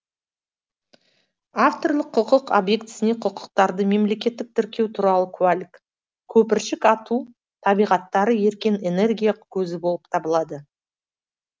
авторлық құқық объектісіне құқықтарды мемлекеттік тіркеу туралы куәлік көпіршік ату еркін энергия көзі болып табылады